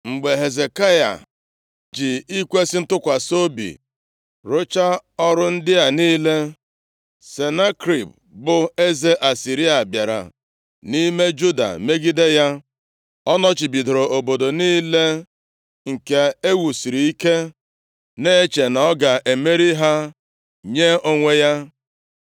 Mgbe Hezekaya ji ikwesi ntụkwasị obi rụchaa ọrụ ndị a niile, Senakerib bụ eze Asịrịa, bịara nʼime Juda megide ya. Ọ nọchibidoro obodo niile nke e wusiri ike, na-eche na ọ ga-emeri ha nye onwe ya.